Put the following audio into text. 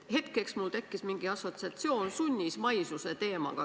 Hetkeks tekkis mul mingi assotsiatsioon sunnismaisuse teemaga.